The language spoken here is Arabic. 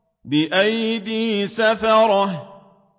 بِأَيْدِي سَفَرَةٍ